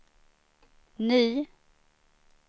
ny